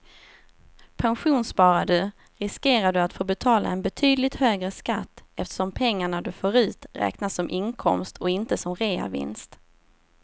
Pensionssparar du riskerar du att få betala en betydligt högre skatt eftersom pengarna du får ut räknas som inkomst och inte som reavinst.